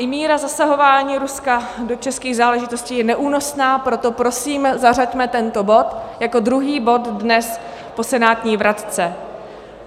I míra zasahování Ruska do českých záležitostí je neúnosná, proto prosím, zařaďme tento bod jako druhý bod dnes po senátní vratce.